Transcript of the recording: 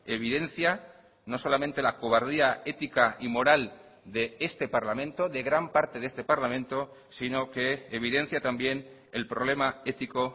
evidencia no solamente la cobardía ética y moral de este parlamento de gran parte de este parlamento sino que evidencia también el problema ético